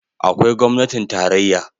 Akwai gwamnatin tarayya